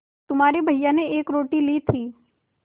तुम्हारे भैया ने एक रोटी ली थी